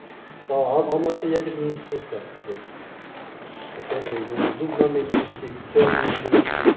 мысалы алматыда ядерный институт бар бізде который немен дубномен жұмыс істейді кельнмен істейді